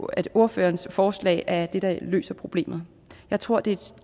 at ordførerens forslag er det der løser problemet jeg tror det er et